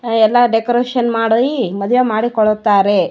ಎಲ್ಲ ಡೆಕೋರೇಷನ್ ಮಾಡಿ ಮದ್ವೆ ಮಾಡಿ ಮದ್ವೆ ಮಾಡಿಕೊಳ್ಳುತ್ತಾರೆ.